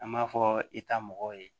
An b'a fɔ i ta mɔgɔw ye